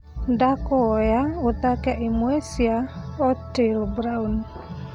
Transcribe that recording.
ndakũhoya uthake imwe cia otile brown